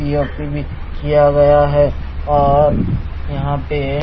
P O P भी किया गया है और यहां पे--